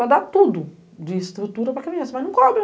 Ela dá tudo de estrutura para criança, mas não cobra.